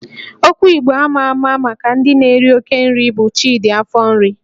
Okwu Igbo ama ama maka ndị na-eri oke nri bụ 'Chidi afọ nri'